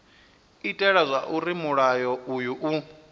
itela zwauri mulayo uyu u